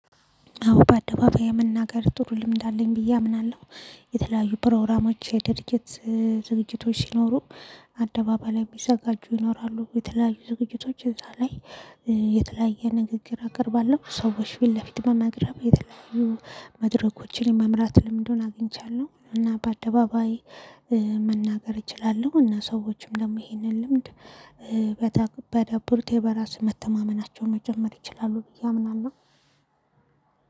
አዎ በአደባባይ የመናገር ጥሩ ልምድ አለኝ ብዬ አምናለሁ። የተለያዩ ፕሮግራሞች የድርጅት ዝግጅቶች ሲኖሩ አደባባይ ላይ የሚዘጋጁ ይኖራሉ የተለያዩ ዝግጅቶች እዛ ላይ የተለያየ ንግግር አቅርባለሁ። ሰዎች ፊት ለፊት መናገርም የተለያዩ መድረኮችን የመምራት ልምዱን አግኝቻለሁ። እና በአደባባይ መናገር እችላለሁ። እና ሰዎችም ደግሞ ይሄንን ልምድ ቢያዳብሩ በራስ መተማመናቸውን መጨመር ይችላሉ ብዬ አምናለሁ።